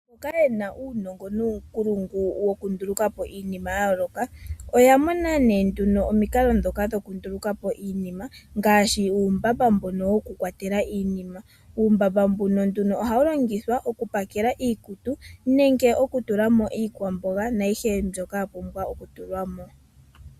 Mboka yena uunongo nuunkulungu wokundulukapo iinima yayooloka oya mona nee nduno omikalo ndhoka dhokundulukapo iinima ngaashi uumbamba mbono woku kwatela iinima. Uumbamba mbuno nduno ohawu longithwa oku pakela iikutu nenge oku tulamo iikwamboga naayihe mbyoka ya pumbwa okutulwamo.